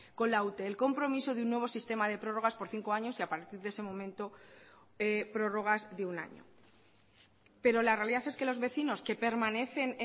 con la ute el compromiso de un nuevo sistema de prórrogas por cinco años y a partir de ese momento prórrogas de un año pero la realidad es que los vecinos que permanecen